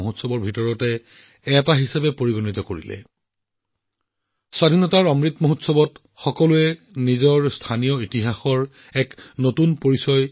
সেই যোদ্ধাসকলৰ প্ৰতি সন্মানেই হওক বা ঘৰে ঘৰে ত্ৰিৰংগাই হওক স্বাধীনতাৰ অমৃত মহোৎসৱত মানুহে নিজৰ স্থানীয় ইতিহাসক এক নতুন পৰিচয় দিছে